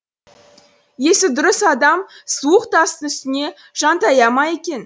есі дұрыс адам суық тастың үстіне жантая ма екен